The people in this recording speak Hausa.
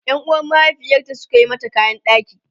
Yan uwan mahaifiyarta Suka mata kayan ɗaki